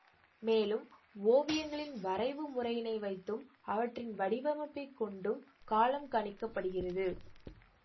மேலும் ஓவியங்களின் வரைவு முறையினை வைத்தும் அவற்றின் வடிவமைப்பை கொண்டும் காலம் கணிக்க படுகிறது